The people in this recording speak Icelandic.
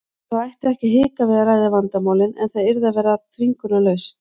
Þau ættu ekki að hika við að ræða vandamálin en það yrði að vera þvingunarlaust.